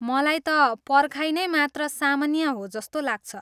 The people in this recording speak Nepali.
मलाई त पर्खाइ नै मात्र सामान्य हो जस्तो लाग्छ ।